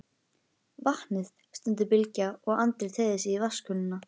Vatnið, stundi Bylgja og Andri teygði sig í vatnskönnuna.